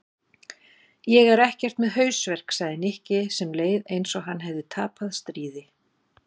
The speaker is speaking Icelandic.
Ég er ekkert með hausverk sagði Nikki sem leið eins og hann hefði tapað stríði.